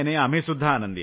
नाही आम्ही सुद्धा